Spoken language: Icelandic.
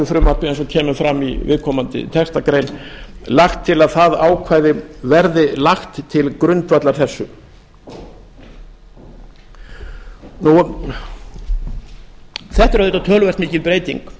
eins og kemur fram í viðkomandi textagrein lagt til að það ákvæði verði lagt til grundvallar þessu þetta er auðvitað töluvert mikil